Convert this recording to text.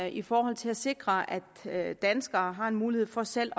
i forhold til at sikre at at danskerne har en mulighed for selv